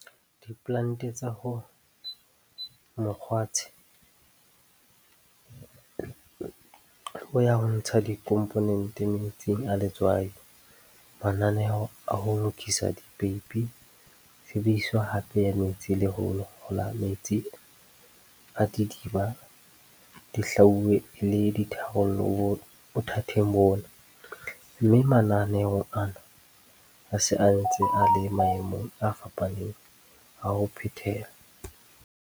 Diplante tsa ho mokgwatshe bo ya ho ntsha dikhomponente metsing a letswai, mananeo a ho lokisa dipeipi, tshebediso hape ya metsi le ho hola metsi a didiba di hlwauwe e le ditharollo bothateng bona, mme mananeo ana a se ntse a le maemong a fapaneng a ho phethela.